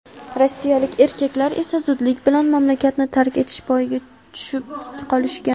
Rossiyalik erkaklar esa zudlik bilan mamlakatni tark etish payiga tushib qolishgan.